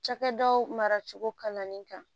Cakɛdaw maracogo kalanni kan